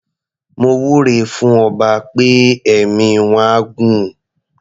Mo wúre fún ọba pé ẹ̀mí wọ́n á gún.